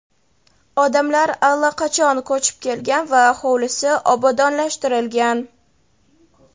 odamlar allaqachon ko‘chib kelgan va hovlisi obodonlashtirilgan.